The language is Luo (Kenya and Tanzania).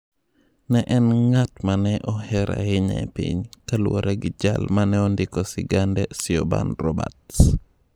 Ne en "ng'at mane oher ahinya e piny", kaluwore gi jal mane ondiko Sigande, Siobhan Roberts.